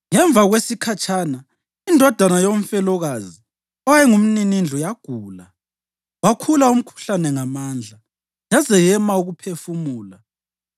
Ngemva kwesikhatshana indodana yomfelokazi owayengumninindlu yagula. Wakhula umkhuhlane ngamandla, yaze yema ukuphefumula.